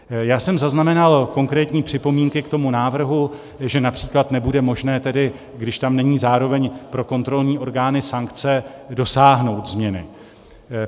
Já jsem zaznamenal konkrétní připomínky k tomu návrhu, že například nebude možné tedy, když tam není zároveň pro kontrolní orgány sankce, dosáhnout změny.